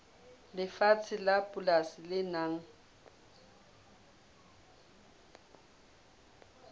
lefatshe la polasi le nang